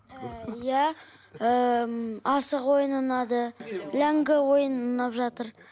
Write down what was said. ыыы иә ыыы м асық ойыны ұнады ләңгі ойыны ұнап жатыр